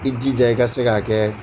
I jija i ka se k'a kɛ